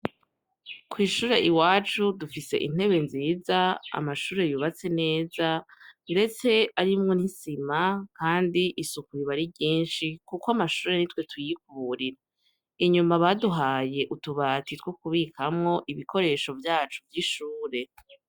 Kw'ishure i wacu dufise intebe nziza amashure yubatse neza mdetse arimwo nisima, kandi isuku ibari ryinshi, kuko amashure ni twe tuyikbrira inyuma baduhaye utubata itwo kubikamwo ibikoresho vyacu vy'ishure.